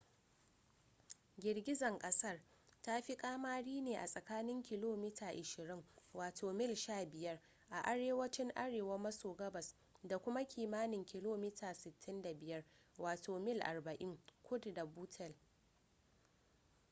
girgizar kasar ta fi kamari ne a tsakanin kilomita 20 wato mil 15 a arewacin arewa maso gabas da kuma kimanin kilomita 65 wato mil 40 kudu da buttle